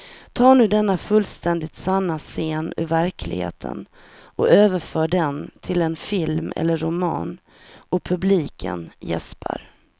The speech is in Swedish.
Ta nu denna fullständigt sanna scen ur verkligheten och överför den till en film eller en roman och publiken jäspar.